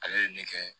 Ale ye ne kɛ